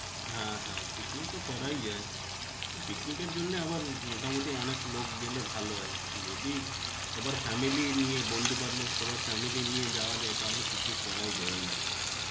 হ্যাঁ হ্যাঁ, picnic তো করাই যায়. picnic এর জন্যে আবার উম মোটামুটি অনেক লোক গেলে ভালো হয়. যদি সবার family নিয়ে বন্ধু বান্ধব সবার family নিয়ে যাওয়া যায় তাহলে picnic করাই যায় ওরমধ্যে.